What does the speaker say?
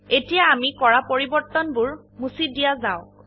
এতিয়া আমি কৰা পৰিবৰ্তনবোৰ মুছি দিয়া যাওক